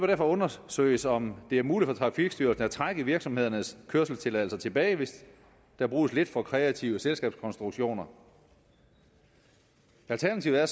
derfor undersøges om det er muligt for trafikstyrelsen at trække virksomhedernes kørselstilladelser tilbage hvis der bruges lidt for kreative selskabskonstruktioner alternativet er